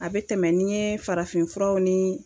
A bɛ tɛmɛn n'i ye farafinfuraw ni